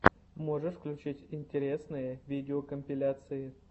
можешь включить интересные видеокомпиляции